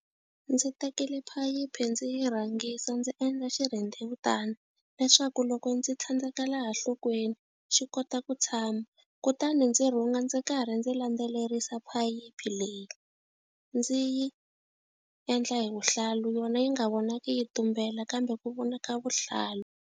Ndzi tekile phayiphi ndzi yi rhangisa ndzi endla xirhendzewutani, leswaku loko ndzi tlhandleka laha nhlokweni xi kota ku tshama. Kutani ndzi rhunga ndzi karhi ndzi landzelerisa phayiphi leyi. Ndzi yi endla hi vuhlalu, yona yi nga vonaki yi tumbela kambe ku vona ka vuhlalu.